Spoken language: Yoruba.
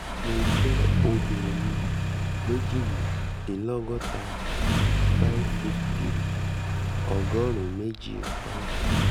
mo jẹ́ obìnrin méjìdínlọ́gọ́ta five feet three & ọgọ́rùn-ún méjì poun